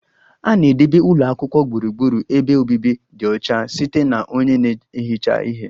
A na-edebe ụlọ akwụkwọ gburugburu ebe obibi dị ọcha site na onye na-ehicha ihe